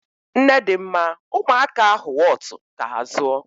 Nnedịmma, ụmụaka ahụ wọtu ka ha zụọ.